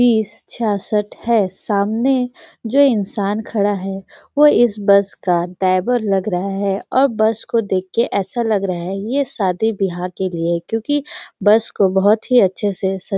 बीस छयासठ है सामने जो इंसान खड़ा है वह इस बस का ड्राइवर लग रहा है और बस को देख के ऐसा लग रहा है शादी बिहा के लिए है क्योकि बस को बहोत ही अच्छे से स--